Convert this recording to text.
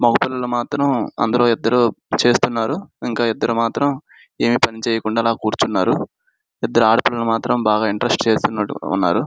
మగ పిల్లల మాత్రం అందులో ఇద్దరు చేస్తున్నారు ఇంకో ఇద్దరు మాత్రం ఏమి పని చేయకున్నా అలా కూర్చున్నారు ఇద్దరు ఆడపిల్లలు మాత్రం బాగా ఇంట్రెస్ట్ గా చేస్తున్నట్టున్నారు.